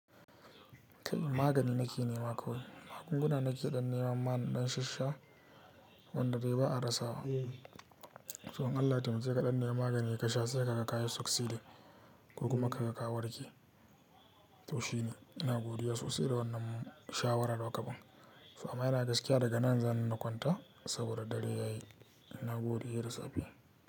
Kai magani nake nema kawai. Magunguna nake ɗan nema ma naɗan shashsha wanda dai ba a rasa wa. To in Allah ya taimake kaɗan nemi maganin ka sha sai ka ga kayi successding kokuma ka ga ka warke. To shine, ina godiya sosai da wannan shawarar da kukaban. To amma ina gaskiya daga nan zani na kwanta saboda dare yayi. Na gode he da safe.